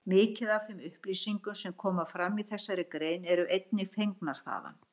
Mikið af þeim upplýsingum sem koma fram í þessari grein eru einnig fengnar þaðan.